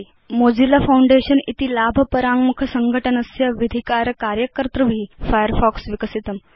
Mozilla Foundation इति लाभ पराङ्मुख संघटनं तस्य विधिकार कार्यकर्तृभि फायरफॉक्स विकसितम्